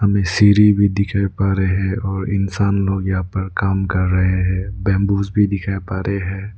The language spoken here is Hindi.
हमें सीढ़ी भी दिखाई पारे है और इंसान लोग यहां पर काम कर रहे हैं बंबूस भी दिखाई पारे हैं।